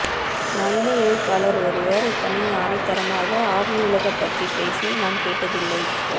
நவீன எழுத்தாளர் ஒருவர் இத்தனை ஆணித்தரமாக ஆவியுலகு பற்றிப் பேசி நான் கேட்டதில்லை